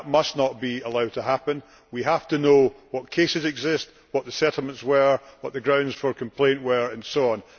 That must not be allowed to happen. We have to know what cases exist, what the settlements were, what the grounds for complaint were, and so on.